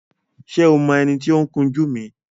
Ṣé o mọ ẹni tí ó ń kun jú mi?